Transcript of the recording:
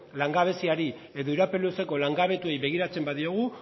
langabeziari edo iraupen luzeko langabetuei begiratzen badiogu